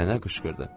Nənə qışqırdı.